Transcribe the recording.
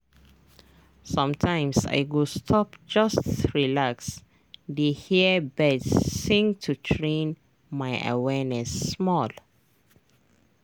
sometimes i go stop just relax dey hear birds sing to train my awareness small.